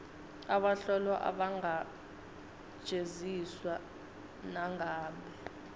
bahlolwa abangajeziswa nangabe